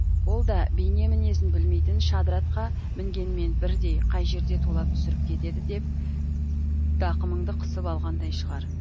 ол да бейне мінезін білмейтін шадыр атқа мінгенмен бірдей қай жерде тулап түсіріп кетеді деп тақымыңды қысып алғандай шығар